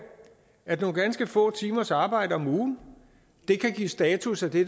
at nogle ganske få timers arbejde om ugen kan give status af det